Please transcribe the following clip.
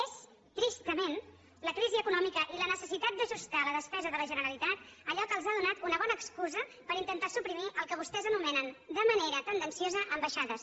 és tristament la crisi econòmica i la necessitat d’ajustar la despesa de la generalitat allò que els ha donat una bona excusa per intentar suprimir el que vostès anomenen de manera tendenciosa ambaixades